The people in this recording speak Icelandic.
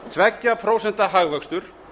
tveggja prósenta hagvöxtur